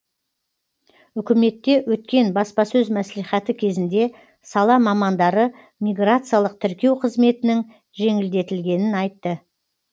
үкіметте өткен баспасөз мәслихаты кезінде сала мамандары миграциялық тіркеу қызметінің жеңілдетілгенін айтты